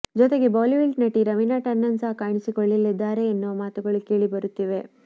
ಜೊತೆಗೆ ಬಾಲಿವುಡ್ ನಟಿ ರವೀನಾ ಟಂಡನ್ ಸಹ ಕಾಣಿಸಿಕೊಳ್ಳಲಿದ್ದಾರೆ ಎನ್ನುವ ಮಾತುಗಳು ಕೇಳಿ ಬರುತ್ತಿವೆ